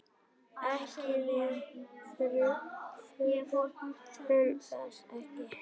Nei, við þurfum þess ekki.